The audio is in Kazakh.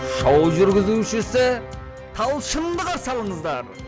шоу жүргізушісі талшынды қарсы алыңыздар